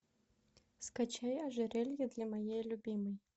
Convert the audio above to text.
скачай ожерелье для моей любимой